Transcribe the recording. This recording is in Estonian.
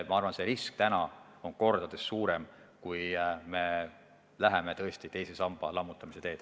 Ma arvan, et risk on kordades suurem, kui me nüüd läheme tõesti teise samba lammutamise teed.